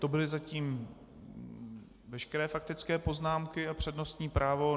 To byly zatím veškeré faktické poznámky a přednostní právo.